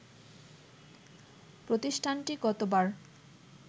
প্রতিষ্ঠানটি গতবার